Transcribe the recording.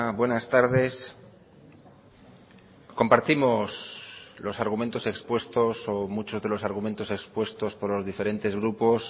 buenas tardes compartimos los argumentos expuestos o muchos de los argumentos expuestos por los diferentes grupos